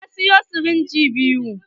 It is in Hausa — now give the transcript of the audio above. Ya siyo sirinji biyu.